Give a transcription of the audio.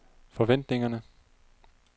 forventningerne